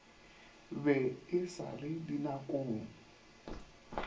be e sa le dinakong